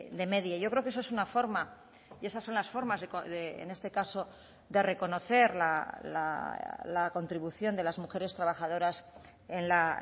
de media yo creo que eso es una forma y esas son las formas en este caso de reconocer la contribución de las mujeres trabajadoras en la